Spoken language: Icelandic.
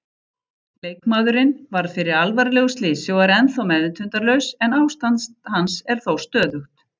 Leikmaðurinn varð fyrir alvarlegu slysi og er ennþá meðvitundarlaus en ástand hans er þó stöðugt.